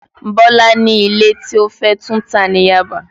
Bọ́lá ni ilé tí ó fé túntà ní Yaba